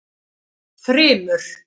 Þrymur